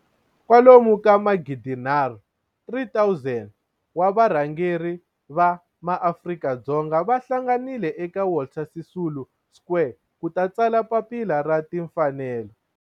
kwalomu ka magidi nharhu, 3 000 wa varhangeri va maAfrika-Dzonga va hlanganile eka Walter Sisulu Square ku ta tsala Papila ra Tinfanelo.